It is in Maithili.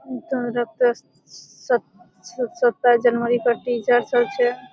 सत सताइस जनवरी का टीचर सब छे।